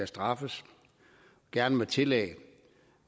straffes gerne med tillæg